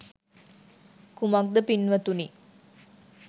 කුමක්ද පින්වතුනි